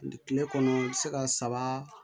Kile kɔnɔ i bi se ka saba